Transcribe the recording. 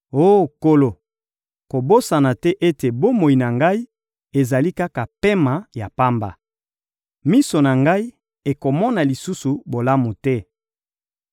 Oh Nkolo, kobosana te ete bomoi na ngai ezali kaka pema ya pamba! Miso na ngai ekomona lisusu bolamu te.